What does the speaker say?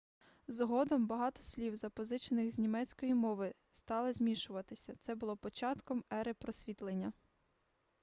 згодом багато слів запозичених з німецької мови стали змішуватися це було початком ери просвітлення